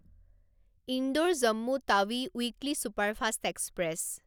Indore Jammu Tawi weekly superfast express